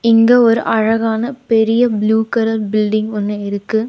இங்க ஒரு அழகான பெரிய ப்ளூ கலர் பில்டிங் ஒன்னு இருக்கு.